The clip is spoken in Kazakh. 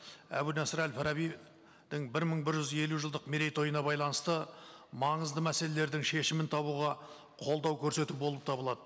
әбу насыр әл фарабидің бір мың бір жүз елу жылдық мерейтойына байланысты маңызды мәселелердің шешімін табуға қолдау көрсету болып табылады